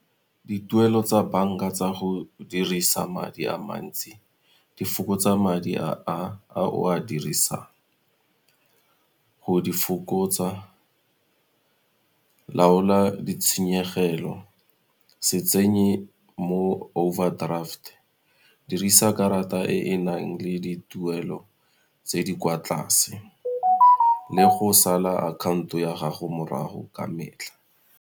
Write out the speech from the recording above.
Dituelo tsa banka tsa go dirisa madi a mantsi di fokotsa madi a o a dirisang. Go di fokotsa laola ditshenyegelo, se tsenye mo overdraft, dirisa karata e e nang le dituelo tse di kwa tlase le go sala akhanto ya gago morago ka metlha.